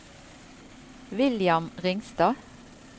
William Ringstad